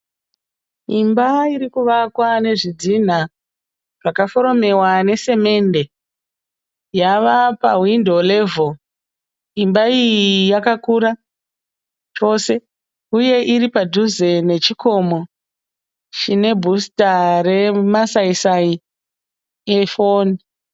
Imba irikuvakwa nezvidhinha zvakaforomewa nesimende. Yava pa hwindo level. Imba iyi yakakura chose uye iripadhuze nechikomo chine bhusita rema sai sai efoni.